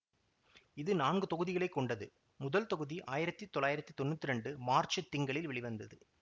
இது நான்கு தொகுதிகளைக்கொண்டது முதல் தொகுதி ஆயிரத்தி தொள்ளாயிரத்தி தொன்னூத்தி இரண்டு மார்ச்சுத் திங்களில் வெளிவந்தது